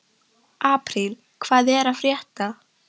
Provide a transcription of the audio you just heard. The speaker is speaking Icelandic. Apríl, hvað er að frétta?